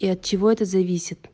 и от чего это зависит